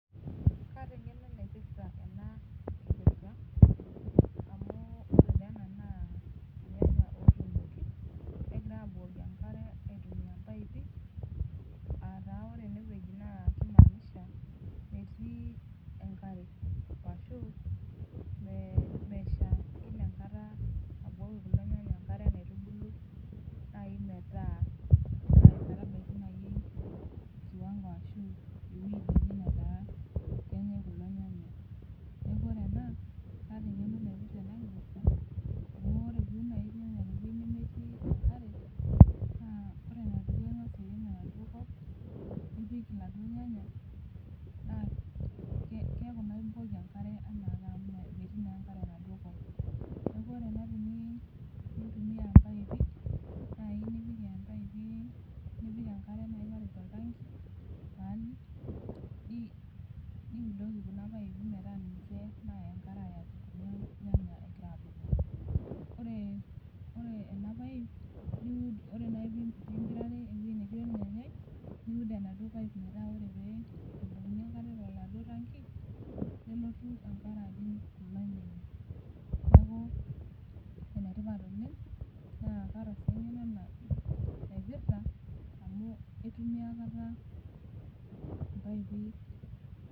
Kata eng'eno naipirta amu ore naa ena naa emukunda negirai abukoki enkare aitumia ee pipe aa taa ore ene wueji kaimanisha metii enkare ashu meshaa enkata neeku metum Kuna tokitin enkare naitubulu metabaiki najii kiwango ashu ewueji netaa kenyai kulo nyanya neeku kataa eng'eno naipirta ena kipirta amu ore naaji teniun irnyenya tewueji nemetii enkare naa ore enedukuya naa eng'as airem enaduo kop pii pik eladuo nyanya neeku ekimpotu ake enkare enaake amu metii enkare enaduo kop neeku ore naaji tenkop nayieu nejia naa epik naaji enkare matejo oltanki niudoki Kuna paipii metaa ninche naata enkare neeku ore pee empirare enetii ornyanyai niud empipe naa kataa sii eng'eno naipirta amu aitumia mpaipi